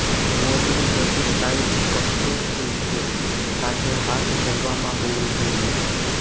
મોજણી બધી સાઇટ્સ કબજો સ્થિત છે સાથે હાથ ધરવામાં હોવું જોઈએ